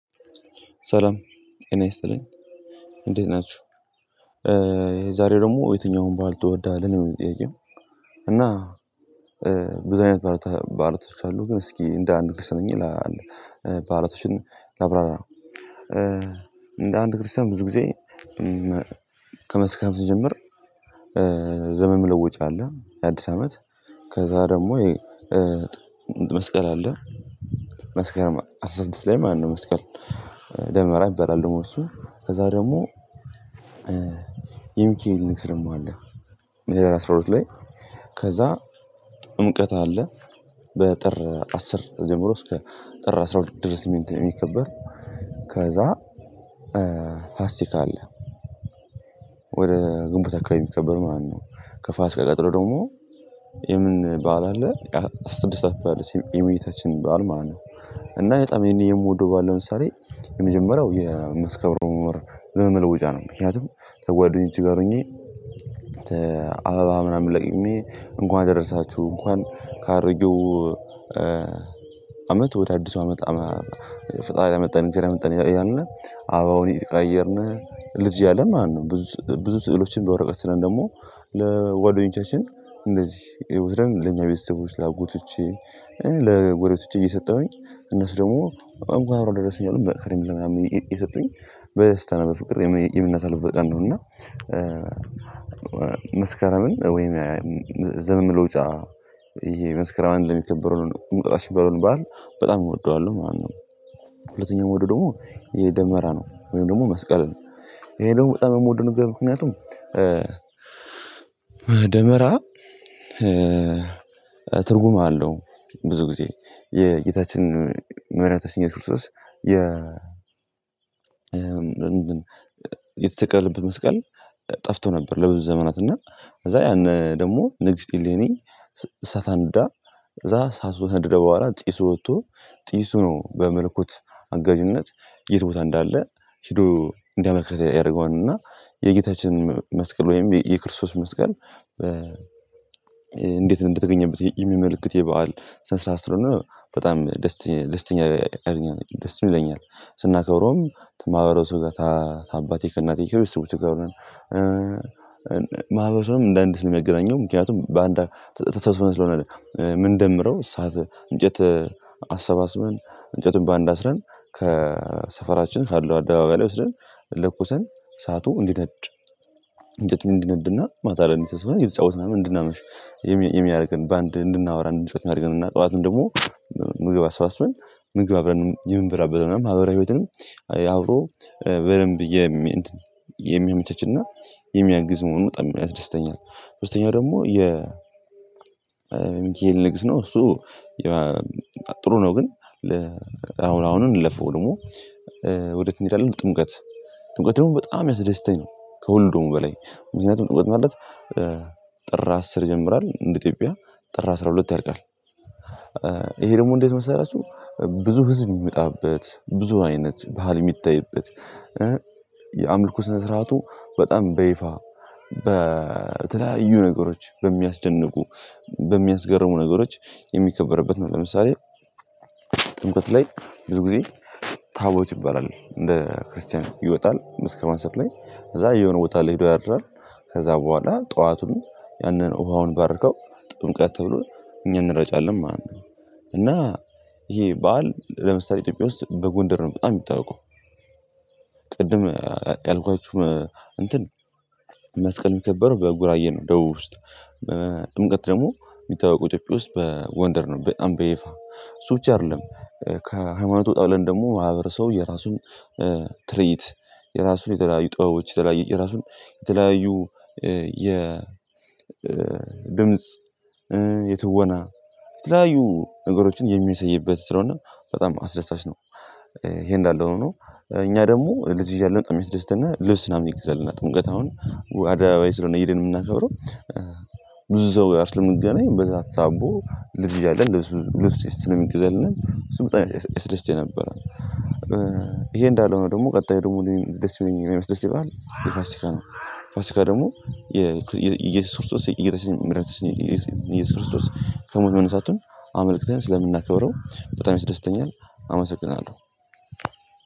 ሰላም እኔ ይስጥልኝ እንዴት ናችሁ የዛሬው ደግሞ የትኛውን በዓል ትወዳለህ? ነው የሚል ጥያቄው በዛኛው ባልቶች አሉ ግን እስኪ እንደ አንድ ክስ ነኝ ለአንድ ባህላቶች ላብራራ እንደ አንድ ክርስቲያን ብዙ ጊዜ ከመስከረም ስጀምር ዘመን መለወጫ አለ የአዲስ ዐመት ከዛ ደግሞ መስቀል አለ መስከረም አስራ ስድስት ላይ ማለት ነው መስቀል ደመራ ይባላል ደግሞ እሱ ከዛ ደግሞ የሚካኤል ንግስ ደግሞ አለ ህዳር አስራ ሁለት ሁለት ላይ ከዛ ጥምቀት አለ በጥር አስር ጀምሮ እስከ ጥር አስራ ሁለት ድረስ የሚከበር ከዛ ፋሲካ አለ ወደ ግንቦት አካባቢ የሚከበር ማለት ነው ከፋሲካ ቀጥሎ ደግሞ የምን በዓል አለ አስራ ስድስት አካባቢ የእመቤታችን ባል ማለት ነው እና በጣም ይሄን የምወደው ባል ለምሳሌ የመጀመሪያው የመስከረም ወር ዘመን መለወጫ ነው ምክንያቱም ከጓደኞች ጋር ሆኜ ከአበባ ምናምን ለቅሜ እንኳን ደረሳችሁ እንኳን ካረጉው አመት ወደ አዲሱ አመት ፈጣሪያ መጣን ሲረምጠን እያልን አበባውን እየተቀያየርነ ልጅ እያለን ማለት ነው ብዙ ስዕሎችን በወረቀት ስለን ደግሞ ለጓደኞቻችን እንደዚህ ይውስደን ለኛ ቤተሰቦች ላጎቶቼ ለጎረቤቶቼ እየሰጠሁኝ እነሱ ደግሞ አንኳ አብሮ ለደረሰኝ አሉ መክሬም ለምናምን ይሰጠኝ በስተና በፍቅር የምናሳልፍ በቀን ነው እና መስከረምን ወይም ዘመን መለወጫ የመስከረም አንድ ነው የሚከበረውን እንቁጣጣሽ የሚባለውን በዓል በጣም እወደዋለሁ ማለት ነው ሁለተኛው መውደድ ደግሞ የደመራ ነው ወይም ደግሞ መስቀል ነው ይሄ ደግሞ በጣም የምወደው ነገር ምክንያቱም ደመራ ትርጉም አለው ብዙ ጊዜ የጌታችን መድኃኒታችን ኢየሱስ ክርስቶስ የተሰቀለበት መስቀል ጠፍቶ ነበር ለብዙ ዘመናት እና ከዛ ያን ደግሞ ንግስት እሌኒ እሳት አንድዳ እዛ እሳቱ ከነደደ በኋላ ጢሱ ወጥቶ ጢሱ ሆኖ በመለኮት አጋዥነት የት ቦታ እንዳለ ሄዶ እንዲያመልክተኝ ያደረገውን እና የጌታችንን የጌታችን መስቀል ወይም የክርስቶስ መስቀል እንዴት እንደተገኘበት የሚመልክት የበአል ስንስራ ስር ሆኖ በጣም ደስተኛ ደስተኛ ያረገኛል ደስ ይለኛል ስናከብረውም ማህበረሰብ ጋር ታባቴ ከእናቴ ክርስቲያኖች ጋር ሆነን ማህበረሰብም እንደ እንዲህ ልመገናኘው ምክንያቱም በአንድ ተስፋ ስለሆነ ምንደምረው እሳት እንጨት አሰባስበን እንጨቱን በአንድ አስረን ከሰፈራችን ካለው አደባባይ ላይ ወስደን ለኩሰን እሳቱ እንጨቱ እንዲነድና ማታ አይደለም እንዲጫወትና ምንድነው የሚያደርገን በአንድ እንድናወራ እንዲጫወት መሃል ግን እና ጠዋቱን ደግሞ ምግብ አሰባስበን ምግብ አብረን የምንበላበት ምናምን ማህበራዊ ህይወትንም አውሮ በደንብ የሚያመቸችና የሚያግዝ መሆኑ በጣም ደስተኛ ሶስተኛው ደግሞ የ ሚካኤል ንግስ ነው እሱ ጥሩ ነው ግን አሁን አሁን እንለፈው ደግሞ ወዴት እንሄዳለን ጥምቀት ጥምቀት ደግሞ በጣም ያስደስተኛል ከወልዶም በላይ ምክንያቱም ጥበት ማለት ጥር አስር ይጀምራል እንደ ኢትዮጵያ ጥር አስራ ሁለት ያልቃል ይሄ ደግሞ እንዴት መሰላችሁ ብዙ ህዝብ የሚመጣበት ብዙ አይነት ባህል የሚታይበት የአምልኮ ስነስራቱ በጣም በይፋ በተለያዩ ነገሮች በሚያስደንቁ በሚያስገርሙ ነገሮች የሚከበርበት ነው ለምሳሌ ጥምቀት ላይ ብዙ ጊዜ ታቦት ይባላል እንደ ክርስቲያን ይወጣል መስከማን ሰጥ ላይ ከዛ የሆነ ቦታ ላይ ሄዶ ያድራል ከዛ በኋላ ጠዋቱን ያንን ውሃውን ባርከው ጥምቀት ተብሎ እኛን እንረጫለን ማለት ነው እና ይሄ በዓል ለምሳሌ ኢትዮጵያ ውስጥ በጎንደር ነው በጣም የሚታወቀው ቅድም ያልኳችሁ እንትን መስቀል የሚከበረው በጉራጌ ነው ደቡብ ውስጥ በጥምቀት ደግሞ የሚታወቀው ኢትዮጵያ ውስጥ በጎንደር ነው በጣም በይፋ እሱ ብቻ አይደለም ከሃይማኖቱ ወጣ ብለን ደግሞ ማህበረሰቡ የራሱን ትርዒት የራሱን የተለያዩ ጥበቦች የተለያዩ የራሱን የተለያዩ የ ድምጽ የትወና ትላዩ ነገሮችን የሚያሳይበት ስለሆነ በጣም አስደሳች ነው ይሄ እንዳለ ሆኖ እኛ ደግሞ ልጅ እያለን ልብስ ምናምን ይገዛልናል ጥምቀት አሁን አደባባይ ስለሆነ ሄደን የምናከብረው ብዙ ሰው ጋር ስለምንገናኝ በዛ ሳቦ ልዝ እያለ እንደውስ ልዝ ልዝ ስለሚገዘልና ስምንት ልዝ የሰለስቴ ነበር ይሄ እንዳለው ነው ደግሞ ቀጣይ ደግሞ ደስ የሚለኝና የሚያስደስተኝ በዓል ፋሲካ ነው ፋሲካ ደግሞ ኢየሱስ ክርስቶስ ኢየሱስ ክርስቶስ ከሞት መነሳቱን አመልከተን ስለምናከብረው በጣም ያስደስተኛል አመሰግናለሁ